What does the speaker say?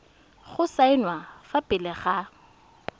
go saenwa fa pele ga